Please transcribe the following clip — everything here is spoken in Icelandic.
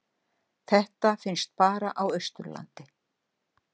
Þetta finnst bara á Austurlandi.